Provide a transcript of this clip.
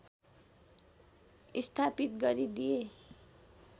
स्थापित गरिदिए